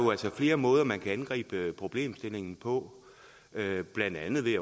flere måder man kan angribe problemstillingen på blandt andet ved